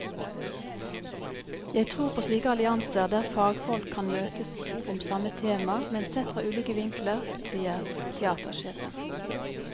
Jeg tror på slike allianser, der fagfolk kan møtes om samme tema, men sett fra ulike vinkler, sier teatersjefen.